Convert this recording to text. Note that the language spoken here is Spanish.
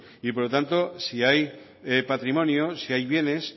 por lo tanto si hay patrimonio si hay bienes